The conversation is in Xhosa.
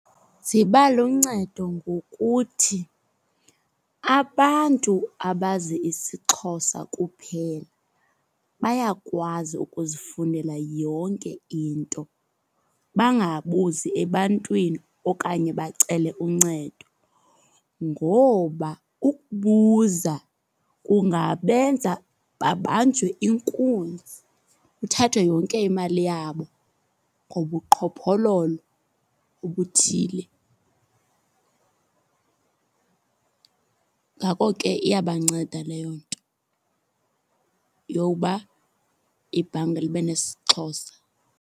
Ziba luncedo ngokuthi abantu abazi isiXhosa kuphela bayakwazi ukuzifunela yonke into, bangabuzi ebantwini okanye bacele uncedo. Ngoba ukubuza kungabenza babanjwe inkunzi, kuthathwe yonke imali yabo ngobuqhophololo obuthile. Ngako ke iyabanceda leyo into yowuba ibhanka libe nesiXhosa.